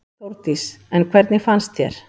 Þórdís: En hvernig fannst þér?